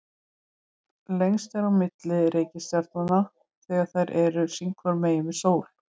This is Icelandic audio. lengst er á milli reikistjarnanna þegar þær eru sín hvoru megin við sól